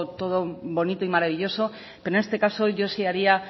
todo bonito y maravilloso pero en este caso yo sí haría